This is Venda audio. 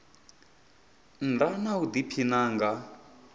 nnda na u diphina nga